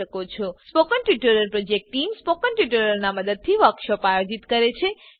spoken tutorial project team spoken ટ્યુટોરીયલોનાં ઉપયોગથી વર્કશોપોનું આયોજન કરે છે